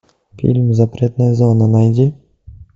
фильм запретная зона найди